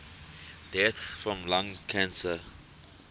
deaths from lung cancer